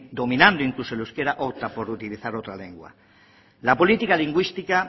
dominando incluso el euskara opta por utilizar otra lengua la política lingüística